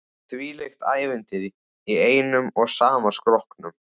Þvílíkt ævintýri í einum og sama skrokknum.